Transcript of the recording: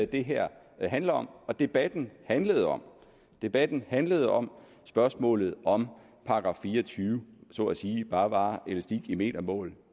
det her handler om og som debatten handlede om debatten handlede om spørgsmålet om § fire og tyve så at sige bare var elastik i metermål